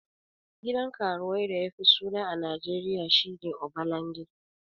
Gidan karuwai da yafi suna a najeriya shine obalande